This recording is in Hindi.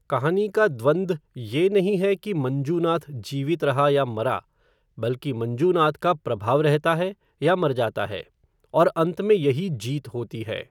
कहानी का द्वन्द ये नहीं है कि मंजूनाथ जीवित रहा या मरा, बल्कि मंजूनाथ का प्रभाव रहता है या मर जाता है, और अंत में यही जीत होती है।